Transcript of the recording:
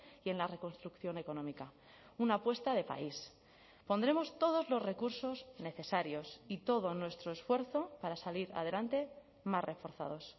y en la reconstrucción económica una apuesta de país pondremos todos los recursos necesarios y todo nuestro esfuerzo para salir adelante más reforzados